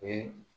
O ye